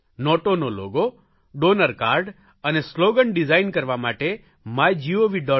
નોટોનો logo donor card અને slogan design કરવા માટે માયગોવ